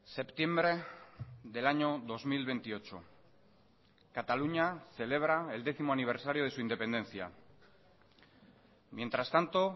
septiembre del año dos mil veintiocho cataluña celebra el décimo aniversario de su independencia mientras tanto